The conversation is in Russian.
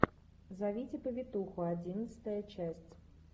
зовите повитуху одиннадцатая часть